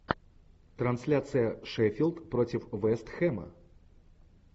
трансляция шеффилд против вест хэма